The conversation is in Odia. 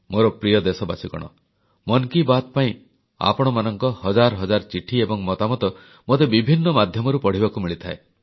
ମୋର ପ୍ରିୟ ଦେଶବାସୀଗଣ ମନ କି ବାତ୍ ପାଇଁ ଆପଣମାନଙ୍କ ହଜାର ହଜାର ଚିଠି ଏବଂ ମତାମତ ମୋତେ ବିଭିନ୍ନ ମାଧ୍ୟମରୁ ପଢ଼ିବାକୁ ମିଳିଥାଏ